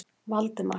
Valdemar